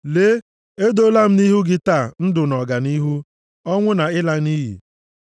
Lee, edoola m nʼihu gị taa ndụ na ọganihu, ọnwụ na ịla nʼiyi.